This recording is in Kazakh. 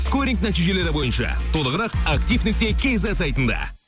скоринг нәтижелері бойынша толығырақ актив нүкте кейзет сайтында